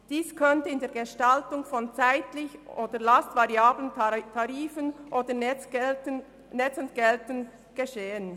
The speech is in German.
Dies könnte in der Gestaltung von zeitlichen beziehungsweise lastvariablen Tarifen oder netzentgeltend geschehen.